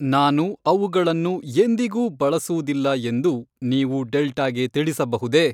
ನಾನು ಅವುಗಳನ್ನು ಎಂದಿಗೂ ಬಳಸುವುದಿಲ್ಲ ಎಂದು ನೀವು ಡೆಲ್ಟಾ ಗೆ ತಿಳಿಸಬಹುದೇ